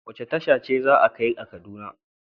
Wace tasha ce za a kai ni kaduna?